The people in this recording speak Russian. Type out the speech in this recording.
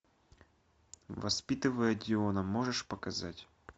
воспитывая диона можешь показать